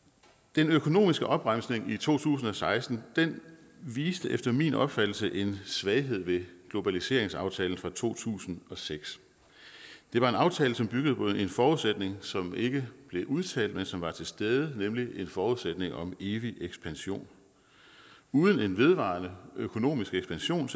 den økonomiske opbremsning i to tusind og seksten viste efter min opfattelse en svaghed ved globaliseringsaftalen fra to tusind og seks det var en aftale som byggede på en forudsætning som ikke blev udtalt men som var til stede nemlig en forudsætning om en evig ekspansion uden en vedvarende økonomisk ekspansion